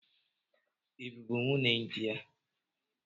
I bụbụ nwunye di ya?